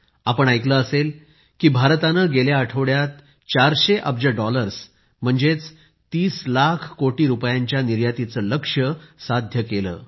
आपण ऐकले असेल की भारतानं गेल्या आठवड्यात 400 अब्ज डॉलर्स म्हणजे 30 लाख कोटी रुपयांच्या निर्यातीचे लक्ष्य साध्य केलं